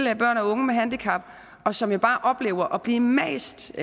til børn og unge med handicap som jo bare oplever at blive mast